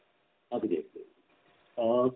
अगदी अ